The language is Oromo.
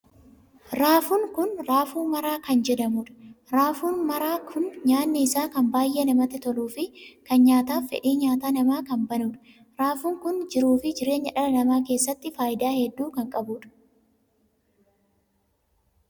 Raafuun kun raafuu maraa kan jedhamuudha. raafuun maraa kun nyaanni isaa kan baay'ee namatti toluu fi kan nyaataaf fedhii nyaata namaa kan baanudha. raafuun kun jiruu fi jireenya dhala namaa keessatti faayidaa hedduu kan qabuudha.